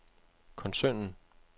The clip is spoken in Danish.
koncernen